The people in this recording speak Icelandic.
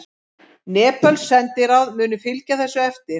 Nepölsk sendiráð munu fylgja þessu eftir